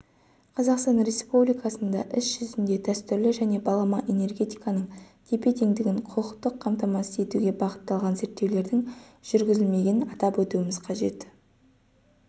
қазақстан республикасында іс-жүзінде дәстүрлі және балама энергетиканың тепе-теңдігін құқықтық қамтамасыз етуге бағытталған зерттеулердің жүргізілмегенін атап өтуіміз қажет